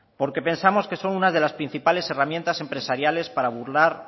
porque pensamos que son una de las principales herramientas empresariales para burlar